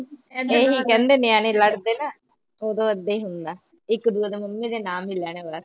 ਇਹੀ ਕਹਿੰਦੇ ਜਦ ਨਿਆਣੇ ਲੜਦੇ ਨਾ ਉਦੋਂ ਏਦਾਂ ਈ ਹੁੰਦਾ ਇਕ ਦੂਜੇ ਦੀਆਂ ਮੰਮੀਆਂ ਦੇ ਨਾਮ ਲੈਣ ਵਾਲਾ